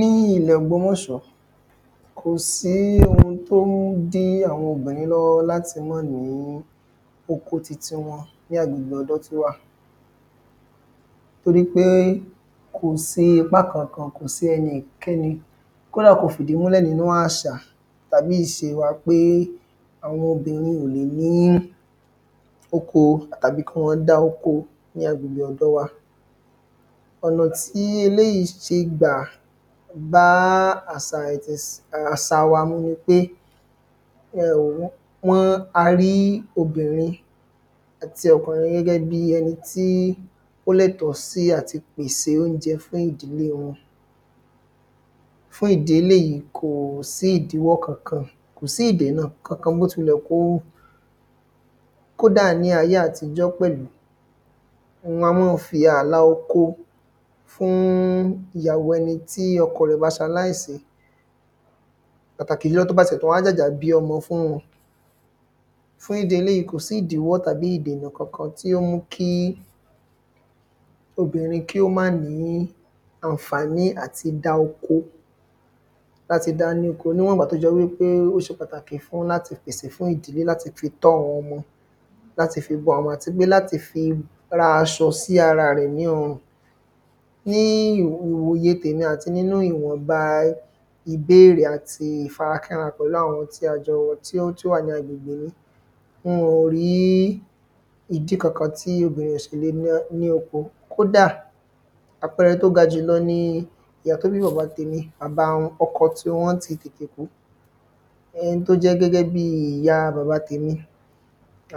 Ní ilẹ̀ ògbómọ̀ṣọ́ kò sí ohun tó ń dí àwọn obìnrin lọ́wọ́ láti mọ́ ní oko titi wọn ní agbègbè ọ̀dọ̀ wa. Torípé kò sí ipá kankan kò sí ẹnikẹ́ni kódà kò fìdímúlẹ̀ nínú àṣà tàbí ìse wa pé àwọn obìnrin ò lè ní oko àbí kí wọ́n dá oko ní agbègbè ọ̀dọ̀ wa. Ọ̀nà tí eléèyí ṣe gbà bá àsà wa mu nipé um wọ́n a rí obìnrin àti ọkùnrin gẹ́gẹ́ bí ẹni tí ó lẹ́tọ̀ sí àti pèsè óúnjẹ fún ìdílé wọn. Fún ìdí eléèyí kò sí ìdíwọ́ kankan kò sí ìdènà kankan bó tilẹ̀ wù kó kódà ní ayé àtijọ́ pẹ̀lú èyàn a mọ́ fi àlà oko fún ìyàwó ẹni tí ọkọ rẹ̀ ba ṣaláìsí pàtàkì jùlọ tí ó bá ti ẹ̀ wá jàjà bí ọmọ fún wọn fún ìdí eléèyí kò sí ìdíwọ́ tàbí ìdènà kankan tí ó mú kí obìnrin kí ó má ní ànfàní àti dá oko láti dání ko níwọ̀n ìgbà tí ó jẹ́ wípé ó ṣe pàtàkì fún láti fi pèsè fún ìdílé láti fi tọ́ àwọn ọmọ láti fi bọ́ wọn àti pé láti fi ra aṣọ sí ara rẹ̀ ní ọrùn. Ní ìwòye tèmi àti nínú ìwọnba ìbéèrè àti ìfara kínra pẹ̀lú àwọn tí ó wà ní agbègbè mi wọn ò rí ìdí kankan tí obìnrin ò ṣe le ní oko kódà àpẹrẹ tó ga jù lọ ni ìyá tó bí bàbá tèmi bàbá wọn ọkọ tiwọn ti tètè kú ẹni tó jẹ́ gẹ́gẹ́ bí ìyá bàbá tèmi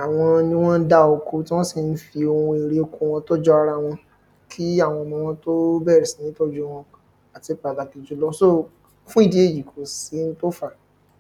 àwọn ni wọ́n ń dá oko tí wọ́n sì ń fi ohun èrè oko wọn tọ́jú ara wọn kí àwọn ọmọ wọn tó bẹ̀rẹ̀ sí ní tọ́jú wọn àti pàtàkì jùlọ so fún ìdí èyí kò sí un tó fá.